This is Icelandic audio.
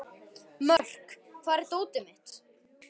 Mörk, hvar er dótið mitt?